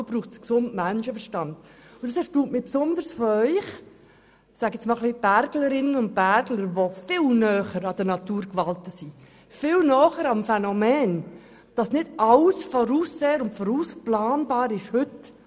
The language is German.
Ab und zu braucht es aber den gesunden Menschenverstand, und es erstaunt mich besonders von Ihrer Seite, wo es einige Berglerinnen und Bergler gibt, die viel näher an den Naturgewalten sind, viel näher am Phänomen, wo nicht alles voraussehbar und planbar ist.